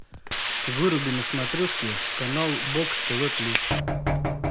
выруби на смотрешке канал бокс тв плюс